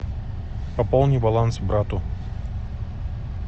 пополни баланс брату